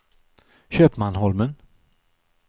Köpmanholmen